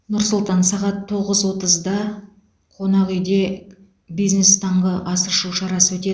нұр сұлтан сағат тоғыз отызда қонақ үйде бизнес таңғы ас ішу шарасы өтеді